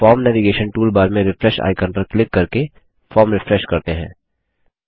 अब form navigation toolbar में refresh icon पर क्लिक करके फॉर्म रिफ्रेश करते हैं